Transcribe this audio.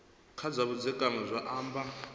kha zwa vhudzekani zwi amba